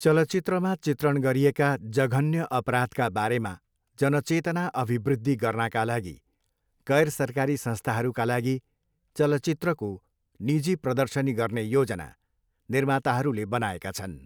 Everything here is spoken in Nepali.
चलचित्रमा चित्रण गरिएका जघन्य अपराधका बारेमा जनचेतना अभिवृद्धि गर्नाका लागि गैरसरकारी संस्थाहरूका लागि चलचित्रको निजी प्रदर्शनी गर्ने योजना निर्माताहरूले बनाएका छन्।